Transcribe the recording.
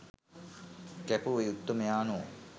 කැපවූ ඒ උත්තමයාණෝ